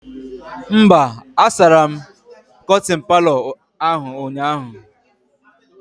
Mba, a sara m kọtịn Palọ ahụ ụnyaahụ